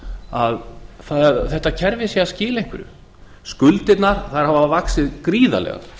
að þetta kerfi sé að skila einhverju skuldirnar hafa vaxið gríðarlega